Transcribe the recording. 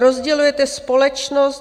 Rozdělujete společnost.